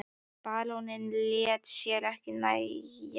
Baróninn lét sér ekki nægja þetta.